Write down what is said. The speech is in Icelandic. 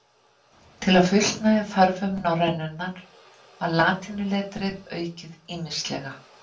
Til að fullnægja þörfum norrænunnar var latínuletrið aukið ýmislega.